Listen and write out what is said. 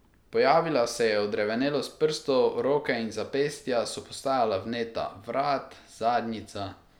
Pojavila se je odrevenelost prstov, roke in zapestja so postajala vneta, vrat, zadnjica ...